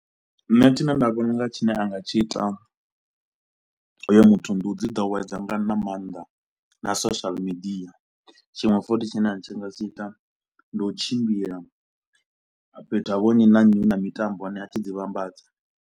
Nṋe tshine nda vhona unga tshine a nga tshi ita hoyo muthu ndi u dzi ḓowedze nga na maanḓa na social media, tshiṅwe futhi tshine a tshi nga tshi ita ndi u tshimbila fhethu ha vho nnyi na nnyi hu na mitambo ane a tshi ḓi vhambadza.